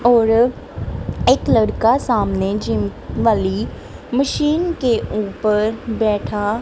और ये एक लड़का सामने जिम वाली मशीन के ऊपर बैठा--